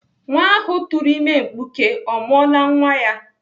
Nwa ahụ tụrụ ime mkpuke ọ mụọla nwa ya?